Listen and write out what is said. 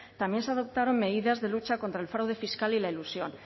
también se adoptaron medidas de lucha contra el fraude fiscal y la ilusión